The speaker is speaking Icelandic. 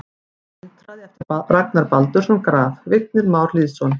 Vindhraði eftir Baldur Ragnarsson Graf: Vignir Már Lýðsson